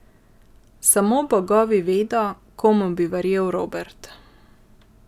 Samo bogovi vedo, komu bi verjel Robert.